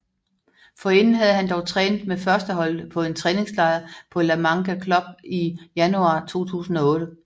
Forinden havde han dog trænet med førsteholdet på en træningslejr på La Manga Club i januar 2008